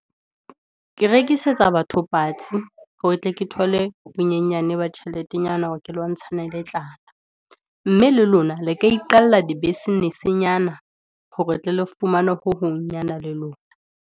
Ke rekisetsa batho patsi, hore tle ke thole bonyenyane ba tjheletenyana, hore ke lwantshane le tlala. Mme le lona le ka iqalla di business-nyana, hore tle le fumanwe ho hong nyana le lona.